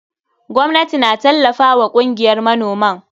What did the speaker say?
Gwamnati ta tallafa wa kungiyar manoman.